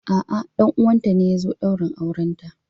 A'a, ɗan uwanta ne ya zo daurin aurenta.